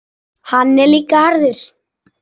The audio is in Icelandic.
Hann er líka harður.